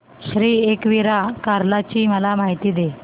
श्री एकविरा कार्ला ची मला माहिती दे